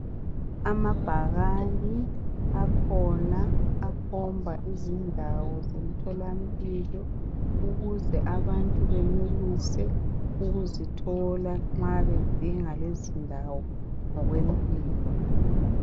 Amabhakani akhona akhomba izindawo zemtholampilo ukuze abantu benelise ukuzithola nxa bedinga lezi ndawo ngokwempilo.